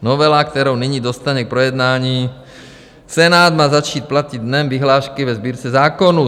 Novela, kterou nyní dostane k projednání Senát, má začít platit dnem vyhlášky ve Sbírce zákonů.